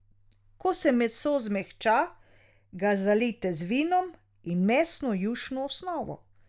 Ko se meso zmehča, ga zalijte z vinom in mesno jušno osnovo.